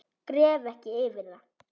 Gref ekki yfir það.